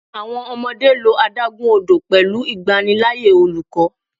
Awọn ọmọde lo adagun odo pẹlu igbanilaaye oluko